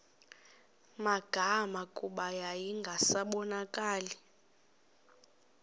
magama kuba yayingasabonakali